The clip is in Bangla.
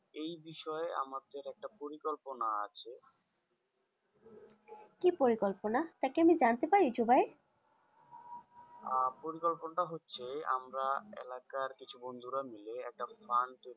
এই বিষয়েই আমাদের একটা পরিকল্পনা আছে কি পরিকল্পনা তা কি আমি জানতে পারি জুবাই? আহ পরিকল্পনাটা হচ্ছে আমরা এলাকার কিছু বন্ধুরা মিলে একটা fund